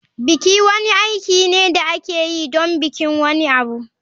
Biki wani aiki ne da ake yi don bikin wani abu.